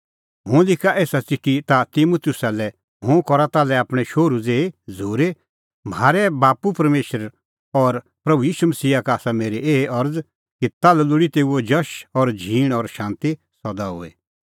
हुंह लिखा एसा च़िठी ताह तिमुतुसा लै हुंह करा ताल्है आपणैं शोहरू ज़ेही झ़ूरी म्हारै बाप्पू परमेशर और प्रभू ईशू मसीहा का आसा मेरी एही अरज़ कि ताल्है लोल़ी तेऊओ जश झींण और शांती सदा हुई